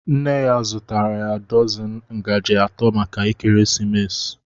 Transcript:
Nne ya zụtara dọzini ngaji atọ maka ekeresimesi.